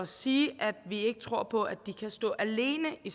sige at vi ikke tror på at de kan stå alene i